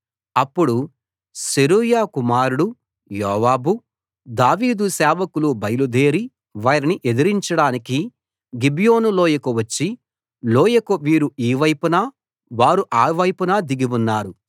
అప్పుడు సెరూయా కుమారుడు యోవాబు దావీదు సేవకులు బయలుదేరి వారిని ఎదిరించడానికి గిబియోను లోయకు వచ్చి లోయకు వీరు ఈ వైపున వారు ఆ వైపున దిగి ఉన్నారు